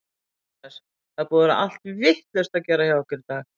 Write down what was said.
Jóhannes: Það er búið að vera allt vitlaust að gera hjá ykkur í dag?